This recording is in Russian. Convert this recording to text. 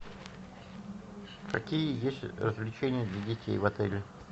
какие есть развлечения для детей в отеле